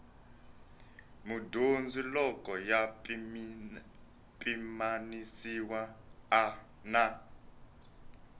mudyondzi loko ya pimanisiwa na